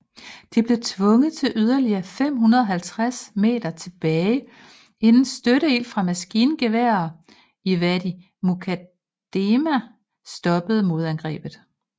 De blev tvunget yderligere 550 meter tilbage inden støtteild fra maskingeværer i Wadi Mukaddeme stoppede modangrebet